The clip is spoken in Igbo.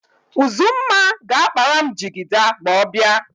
Uzumma ga-akpara m jigida ma ọ bịa.